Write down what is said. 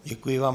Děkuji vám.